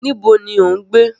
Níbo ni ò ń gbé?